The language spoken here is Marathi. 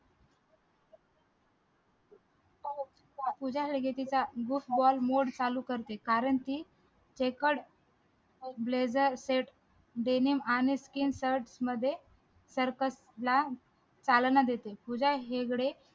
पूजा हेगडे तिचा boot ball mode चालू करते कारण कि blazer set denim आणि skin set मध्ये circus ला चालना देते